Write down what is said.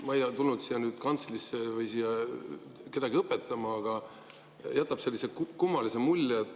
Ma ei tulnud siia kantslisse kedagi õpetama, aga see jätab sellise kummalise mulje.